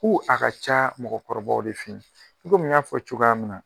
Ko a ka ca mɔgɔkɔrɔbaw de fɛ yen komi n y'a fɔ cogoya min na